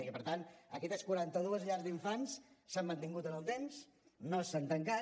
i per tant aquestes quaranta dues llars d’infants s’han mantingut en el temps no s’han tancat